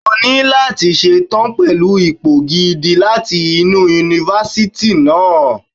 O ní láti ṣe tán pẹ̀lú ipò gidi láti inú Yunifásítì náà.